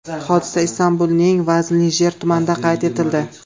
Hodisa Istanbulning Veznijiler tumanida qayd etildi.